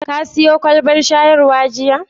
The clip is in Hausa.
Ka siyo kwalbar shayarwa jiya?